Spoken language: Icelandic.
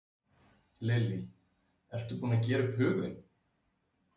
Lillý: Ertu búinn að gera upp hug þinn?